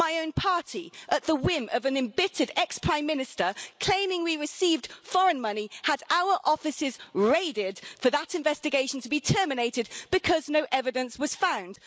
My own party, at the whim of an embittered ex Prime Minister claiming we received foreign money, had our offices raided, only for that investigation to be terminated because no evidence was found.